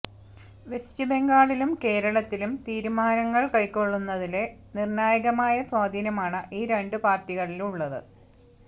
west ബംഗാളിലും കേരളത്തിലും തീരുമാനങ്ങള് കൈക്കൊള്ളുന്നതില് നിര്ണ്ണായകമായ സ്വാധീനമാണ് ഈ രണ്ടു പാര്ടികളിലും ഉള്ളത്